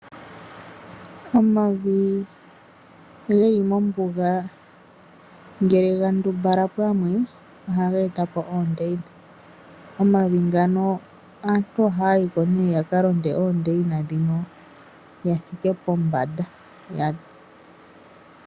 Omavi geli mombuga ngele ga ndumbala pamwe ohaga e ta po oondeina. Omavi ngano aantu ohaya yi ko nee yaka londe oondeina ndhino ya thike pombanda.